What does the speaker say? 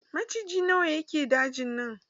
Maciji na wa ke dajin nan?